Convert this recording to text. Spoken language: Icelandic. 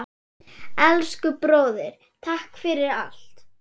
Elsku bróðir, takk fyrir allt.